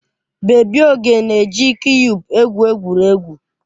Bebi Oge na-eji kiyub egwu egwuregwu.